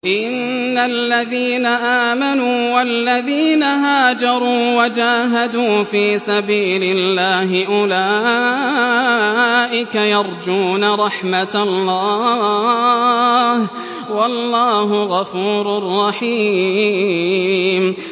إِنَّ الَّذِينَ آمَنُوا وَالَّذِينَ هَاجَرُوا وَجَاهَدُوا فِي سَبِيلِ اللَّهِ أُولَٰئِكَ يَرْجُونَ رَحْمَتَ اللَّهِ ۚ وَاللَّهُ غَفُورٌ رَّحِيمٌ